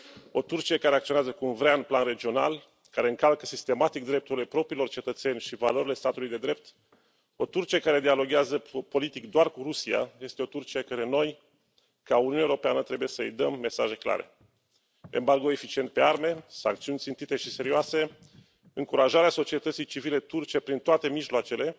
O Turcie care acționează cum vrea în plan regional, care încalcă sistematic drepturile propriilor cetățeni și valorile statului de drept, o Turcie care dialoghează politic doar cu Rusia este o Turcie căreia noi, ca Uniune Europeană, trebuie să îi dăm mesaje clare embargo eficient pe arme, sancțiuni țintite și serioase, încurajarea societății civile turce prin toate mijloacele